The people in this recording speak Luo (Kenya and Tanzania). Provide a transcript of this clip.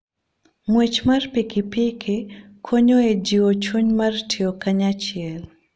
Ng'wech mar pikipiki konyo e jiwo chuny mar tiyo kanyachiel.